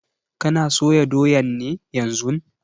Kana soya doyan ne yanzun?